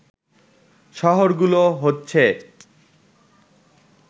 শহরগুলো হচ্ছে